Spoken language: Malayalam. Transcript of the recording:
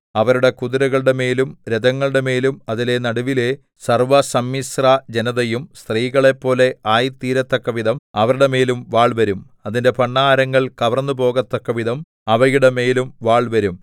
അവരുടെ കുതിരകളുടെമേലും രഥങ്ങളുടെമേലും അതിന്റെ നടുവിലെ സർവ്വസമ്മിശ്രജനതയും സ്ത്രീകളെപ്പോലെ ആയിത്തീരത്തക്കവിധം അവരുടെമേലും വാൾവരും അതിന്റെ ഭണ്ഡാരങ്ങൾ കവർന്നുപോകത്തക്കവിധം അവയുടെ മേലും വാൾവരും